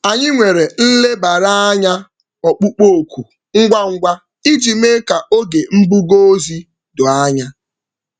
Anyị nwere nlebara anya ọkpụkpụ oku ngwa ngwa iji mee ka oge mbuga ozi doo anya.